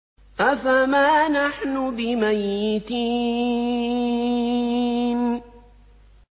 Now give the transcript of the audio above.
أَفَمَا نَحْنُ بِمَيِّتِينَ